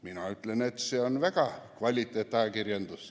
Mina ütlen, et see on väga kvaliteetne ajakirjandus.